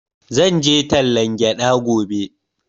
Zan je tallan gyaɗa gobe